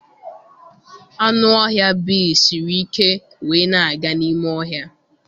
Anụ ọhịa bea siri ike wee na-aga n'ime ọhịa.